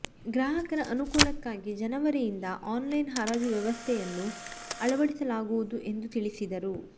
ಗ್ರಾಹಕರ ಅನುಕೂಲಕ್ಕಾಗಿ ಜನವರಿಯಿಂದ ಆನ್ಲೈನ್ ಹರಾಜು ವ್ಯವಸ್ಥೆಯನ್ನು ಅಳವಡಿಸಕೊಳ್ಳಲಾಗುವುದು ಎಂದು ತಿಳಿಸಿದರು